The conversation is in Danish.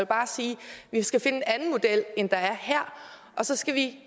bare sige at vi skal finde en anden model end der er her og så skal vi